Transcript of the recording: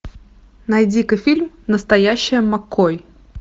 найди ка фильм настоящая маккой